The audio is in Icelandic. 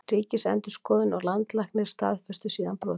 Ríkisendurskoðun og Landlæknir staðfestu síðar brotin